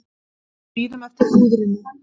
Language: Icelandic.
Bíðum eftir hrúðrinu